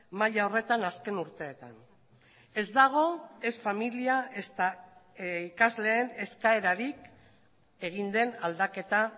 maila horretan azken urteetan ez dago ez familia ezta ikasleen eskaerarik egin den aldaketa